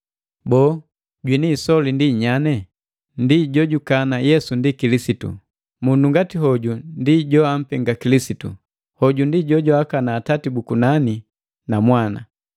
Boo, jwini isoli ndi nyane? Ndi jojukana Yesu ndi Kilisitu. Mundu ngati hoju ndi johampenga Kilisitu, hoju ndi jojwaakana Atati bu kunani na Mwana.